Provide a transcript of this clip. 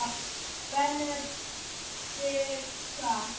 Benedikta